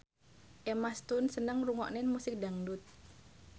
Emma Stone seneng ngrungokne musik dangdut